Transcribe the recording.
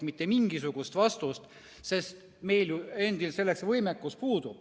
Meil endil selleks võimekus puudub.